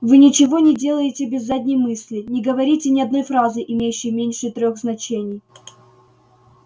вы ничего не делаете без задней мысли не говорите ни одной фразы имеющей меньше трёх значений